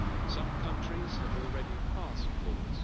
Some countries have already passed laws